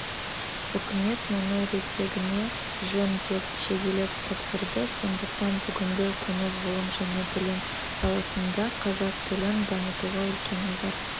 үкімет мұны реттегені жөн деп шегелеп тапсырды сондықтан бүгінгі күні ғылым және білім саласында қазақ тілін дамытуға үлкен назар